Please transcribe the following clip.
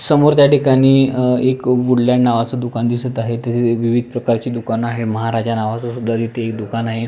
समोर त्या ठिकाणी एक वूड लँड नावच दुकान दिसत आहे तिथे विविध प्रकारची दुकान आहे महाराजा नावाचा सुद्धा तिथे एक दुकान आहे.